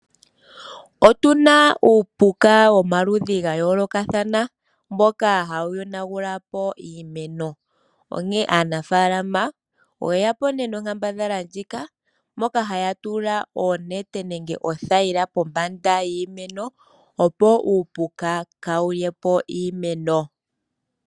Otu na uupuka womaludhi gayoolokathana mboka hawu yonagula po iimeno onkene aanafaalama oyeya po nonkambadhala ndjika moka haya tula oonete nenge oothayila pombanda yiimeno opo uupuka kaawulye po iimeno.